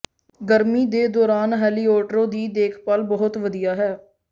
ਗਰਮੀ ਦੇ ਦੌਰਾਨ ਹੈਲੀਓਟਰੋ ਦੀ ਦੇਖਭਾਲ ਬਹੁਤ ਵਧੀਆ ਹੈ